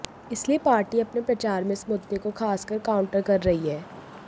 इसलिए पार्टी अपने प्रचार में इस मुद्दे को खासकर काउंटर कर रही है